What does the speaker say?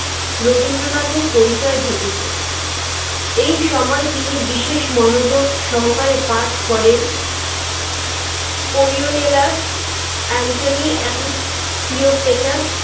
রবীন্দ্রনাথের পরিচয় ঘটেছে। এই সময় তিনি বিশেষ মনোযোগসহকারে পাঠ করেন কোরিওমিলার এন্থনি এন্ড ক্লিওপেট্রার